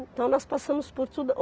Então nós passamos por tudo.